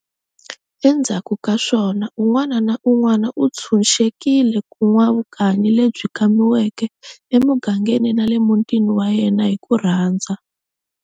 Endzhaku kaswona, un'wana na un'wana u thsunxekiwe ku n'wa vukanyi lebyi kamiweke e mugangeni nale muntini wa yena hi kurhandza.